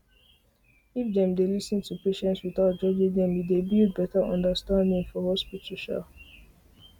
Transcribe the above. if dem dey lis ten to patients without judging them e dey build better understanding for um hospital